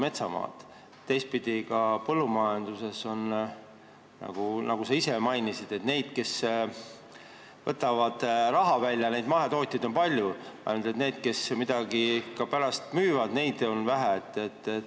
Teistpidi, nagu sa ise mainisid, põllumajanduses on palju neid mahetootjaid, kes võtavad raha välja, ainult et neid, kes pärast midagi ka müüvad, on vähe.